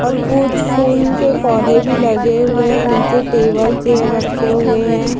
और कुछ फूल के पौधे भी लगे हुए है नीचे टेबल चेयर रखे हुए है ।